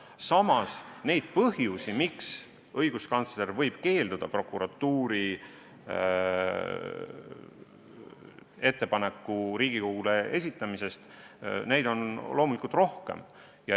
Samas on põhjuseid, miks õiguskantsler võib keelduda prokuratuuri ettepanekut Riigikogule esitamast, loomulikult rohkem.